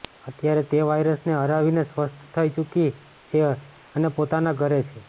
અત્યારે તે વાયરસને હરાવીને સ્વસ્થ થઈ ચૂકી છે અને પોતાના ઘરે છે